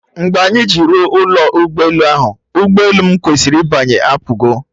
Mgbe anyị ji ruo ụlọ ụgbọ elu, ụgbọ elu m kwesịrị ịbanye apụgo